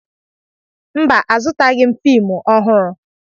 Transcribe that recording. Mba, azụtaghị m fiimu ọhụrụ.